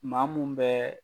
Maa mun bɛ